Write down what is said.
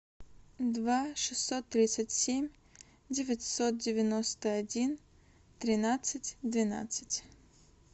два шестьсот тридцать семь девятьсот девяносто один тринадцать двенадцать